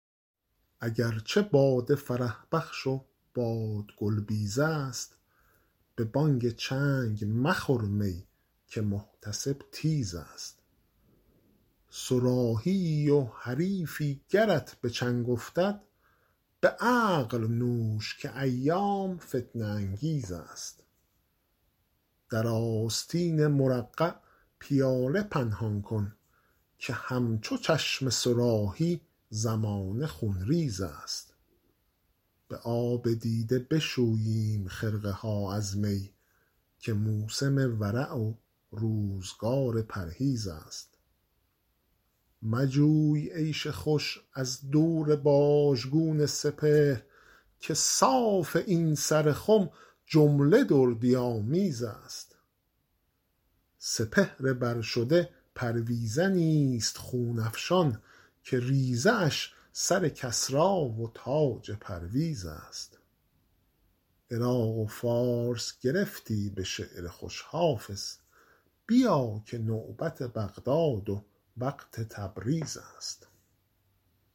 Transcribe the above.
اگر چه باده فرح بخش و باد گل بیز است به بانگ چنگ مخور می که محتسب تیز است صراحی ای و حریفی گرت به چنگ افتد به عقل نوش که ایام فتنه انگیز است در آستین مرقع پیاله پنهان کن که همچو چشم صراحی زمانه خونریز است به آب دیده بشوییم خرقه ها از می که موسم ورع و روزگار پرهیز است مجوی عیش خوش از دور باژگون سپهر که صاف این سر خم جمله دردی آمیز است سپهر بر شده پرویزنی ست خون افشان که ریزه اش سر کسری و تاج پرویز است عراق و فارس گرفتی به شعر خوش حافظ بیا که نوبت بغداد و وقت تبریز است